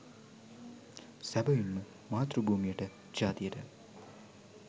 සැබවින්ම මාතෘ භූමියට ජාතියට